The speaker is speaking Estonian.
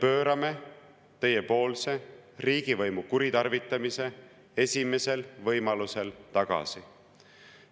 Me pöörame teie riigivõimu kuritarvitamise esimesel võimalusel tagasi.